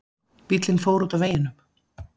Bíllinn fór út af veginum